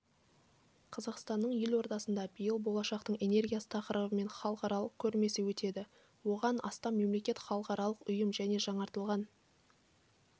қазақстанның елордасында биыл болашақтың энергиясы тақырыбымен халықаралық көрмесі өтеді оған астам мемлекет халықаралық ұйым және жаңартылатын